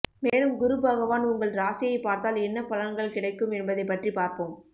மேலும் குருபகவான் உங்கள் ராசியை பார்த்தால் என்ன பலன்கள் கிடைக்கும் என்பதைப் பற்றி பார்ப்போம்